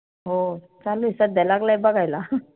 हो चालूए सध्या लागलाय बघायला